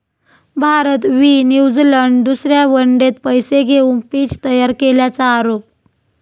भारत वि. न्यूझिलंड दुसऱ्या वन डेत पैसे घेऊन पिच तयार केल्याचा आरोप